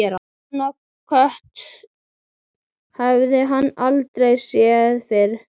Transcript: Svona kött hafði hann aldrei séð fyrr.